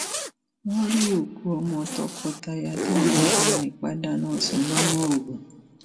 wọn rí òkú ọmọ tọkọtaya táwọn agbanipa dáná sun lọdọ ogun